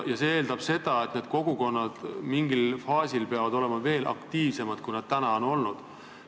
See eeldab seda, et need kogukonnad peavad olema märksa aktiivsemad, kui nad seni on olnud.